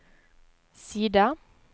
side